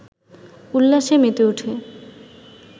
উল্লাসে মেতে উঠে